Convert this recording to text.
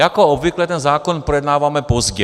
Jako obvykle ten zákon projednáváme pozdě.